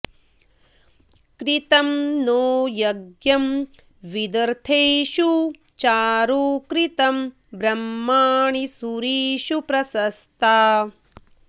कृ॒तं नो॑ य॒ज्ञं वि॒दथे॑षु॒ चारुं॑ कृ॒तं ब्रह्मा॑णि सू॒रिषु॑ प्रश॒स्ता